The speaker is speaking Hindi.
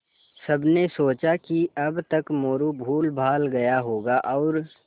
सबने सोचा कि अब तक मोरू भूलभाल गया होगा और